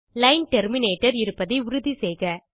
line terminator இருப்பதை உறுதி செய்க